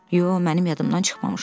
Yox, mənim yadımdan çıxmamışdı.